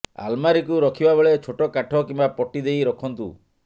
ଆଲମାରୀକୁ ରଖିବା ବେଳେ ଛୋଟ କାଠ କିମ୍ୱା ପଟି ଦେଇ ରଖନ୍ତୁ